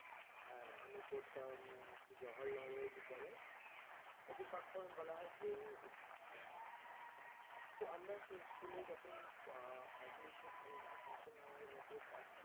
আর আমি পড়তাম জহরলাল বিদ্যালয় ওকে short form এ বলা হয় JNV তো আমরা সেই school এ যখন admission নি admission আমার হয়েছিল ক্লাস